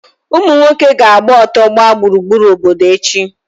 Ụmụ nwoke ga-agba ọtọ gbaa gburugburu obodo echi.